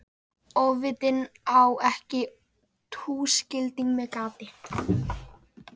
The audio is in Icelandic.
Ofvitinn á ekki túskilding með gati.